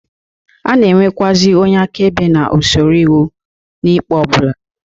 A na-enwekwuazị onye akaebe na usoro iwu n'ikpe ọ bụla.